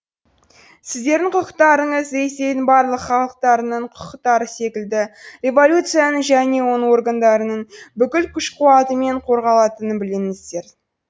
сіздердің құқықтарыңыз ресейдің барлық халықтарының құқықтары секілді революцияның және оның органдарының бүкіл күш қуатымен қорғалатынын біліңіздер